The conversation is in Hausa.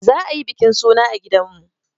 Za a yi bikin suna a gidanmu.